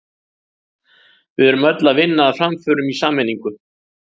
Við erum öll að vinna að framförum í sameiningu.